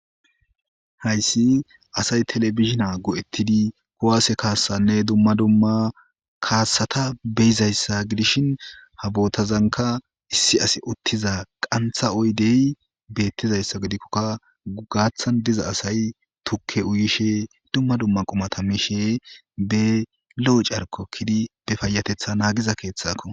Hayssi asay telebizhina go7ettidi kuwaase kaassanne dumma dumma kaassata beyizayssa gidishin ha bootazanka issi as uttiza qantha oydey beettizayssa gidikkokka gaathan diza asay tukke uyishe dumma dumma qumata mishe be lo7o carko kidi be fayatetha naagiza keeththakko.